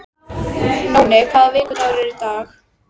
Nóni, hvaða vikudagur er í dag?